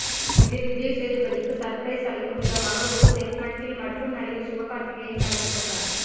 இதில் விஜய் சேதுபதிக்கு சர்ப்ரைஸ் அளிக்கும் விதமாக ஒரு செக்மெண்டில் மட்டும் நடிகர் சிவகார்த்திகேயன் கலந்துகொண்டார்